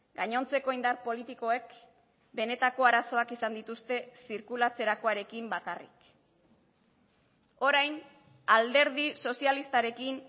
gainontzeko indar politikoek benetako arazoak izan dituzte zirkulatzerakoarekin bakarrik orain alderdi sozialistarekin